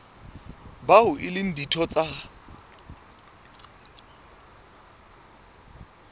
bao e leng ditho tsa